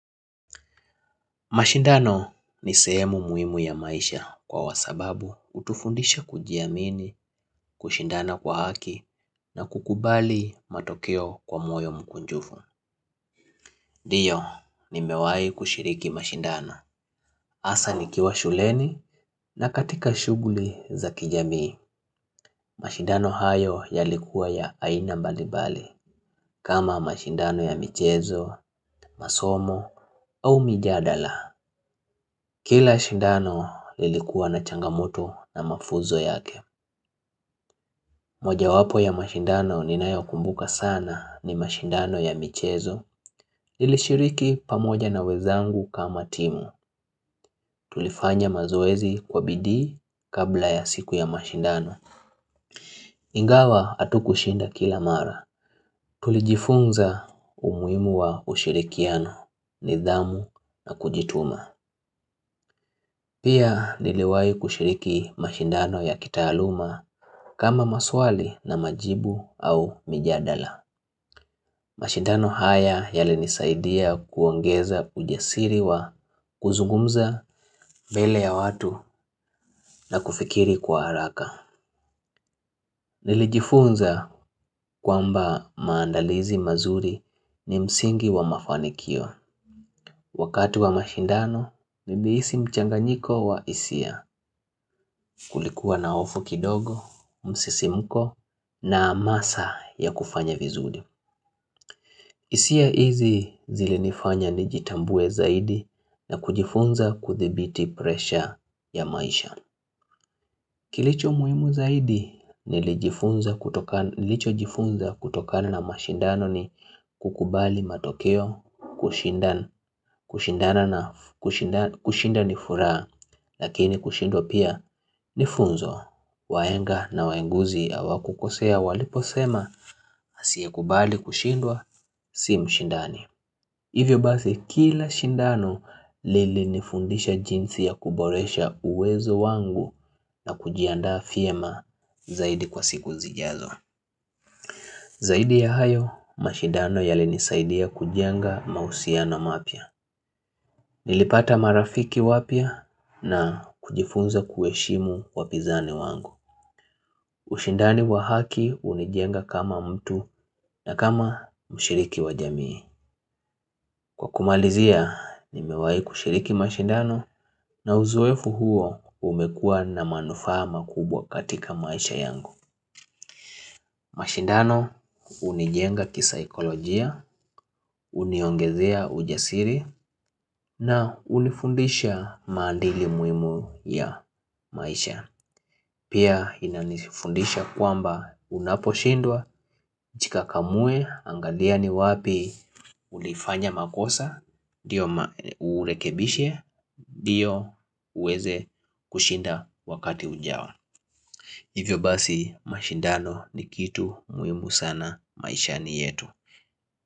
Mashindano ni sehemu muhimu ya maisha kwa wasababu hutufundisha kujiamini, kushindana kwa haki na kukubali matokeo kwa moyo mkunjufu. Ndiyo, nimewai kushiriki mashindano. Hasa nikiwa shuleni na katika shughuli za kijamii, mashindano hayo yalikuwa ya aina mbalimbali kama mashindano ya michezo, masomo au mijadala. Kila shindano lilikuwa na changamoto na mafunzo yake moja wapo ya mashindano ninayo kumbuka sana ni mashindano ya michezo nilishiriki pamoja na wezangu kama timu Tulifanya mazoezi kwa bidii kabla ya siku ya mashindano Ingawa hatukushinda kila mara Tulijifunza umuhimu wa ushirikiano nidhamu na kujituma Pia niliwai kushiriki mashindano ya kitaaluma kama maswali na majibu au mijadala mashindano haya yali nisaidia kuongeza ujasiri wa kuzungumza mbele ya watu na kufikiri kwa haraka Nilijifunza kwamba maandalizi mazuri ni msingi wa mafanikio Wakati wa mashindano nilihisi mchanganyiko wa hisia kulikuwa na hofu kidogo, msisimko na hamasa ya kufanya vizuri hisia hizi zilinifanya nijitambue zaidi na kujifunza kuthibiti presha ya maisha Kilicho muhimu zaidi nilicho jifunza kutokana na mashindano ni kukubali matokeo kushinda ni furaha lakini kushindwa pia nifunzo wahenga na wahenguzi hawa kukosea walipo sema asiye kubali kushindwa si mshindani Hivyo basi kila shindano lilinifundisha jinsi ya kuboresha uwezo wangu na kujiandaa vyema zaidi kwa siku zijazo. Zaidi ya hayo, mashindano yalinisaidia kujenga mahusiano mapya. Nilipata marafiki wapya na kujifunza kuheshimu wapizani wangu. Ushindani wa haki hunijenga kama mtu na kama mshiriki wa jamii. Kwa kumalizia, nimewahi kushiriki mashindano na uzoefu huo umekuwa na manufaa ma kubwa katika maisha yangu. Mashindano hunijenga kisaikolojia, uniongezea ujasiri na unifundisha maandili muhimu ya maisha. Pia inanifundisha kwamba unaposhindwa, jikakamue, angalia ni wapi ulifanya makosa, urekebishe, ndio uweze kushinda wakati ujao. Hivyo basi mashindano ni kitu muhimu sana maishani yetu.